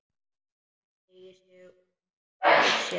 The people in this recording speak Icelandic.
Hann teygir úr sér.